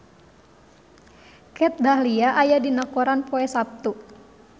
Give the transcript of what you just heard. Kat Dahlia aya dina koran poe Saptu